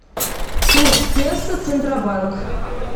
курс песо центробанк